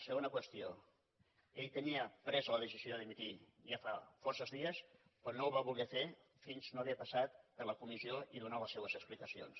segona qüestió ell tenia presa la decisió de dimitir ja fa força dies però no ho va voler fer fins no haver passat per la comissió i donar les seves explicacions